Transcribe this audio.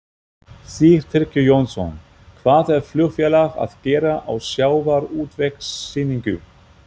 Sigtryggur Jónsson: Hvað er flugfélag að gera á sjávarútvegssýningu?